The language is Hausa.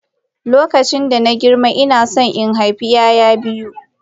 Lokacin da na girma ina so in haifi 'ya'ya biyu